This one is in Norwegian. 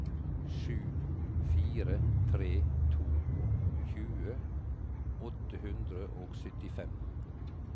sju fire tre to tjue åtte hundre og syttifem